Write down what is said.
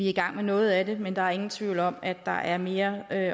i gang med noget af det men der er ingen tvivl om at der er mere og at